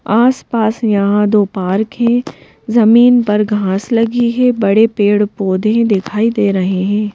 आसपास यहां दो पार्क हैं जमीन पर घास लगी है बड़े पेड़ पौधे हैं दिखाई दे रहे हैं।